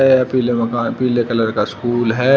यह पीले मकान पीले कलर का स्कूल है।